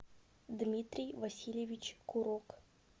дмитрий васильевич курок